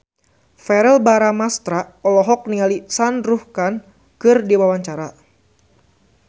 Verrell Bramastra olohok ningali Shah Rukh Khan keur diwawancara